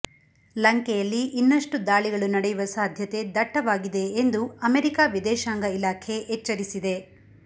ಲಂಕೆಯಲ್ಲಿ ಇನ್ನಷ್ಟು ದಾಳಿಗಳು ನಡೆಯುವ ಸಾಧ್ಯತೆ ದಟ್ಟವಾಗಿದೆ ಎಂದು ಅಮೆರಿಕ ವಿದೇಶಾಂಗ ಇಲಾಖೆ ಎಚ್ಚರಿಸಿದೆ